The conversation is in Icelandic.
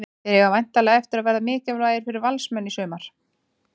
Þeir eiga væntanlega eftir að verða mikilvægir fyrir Valsmenn í sumar.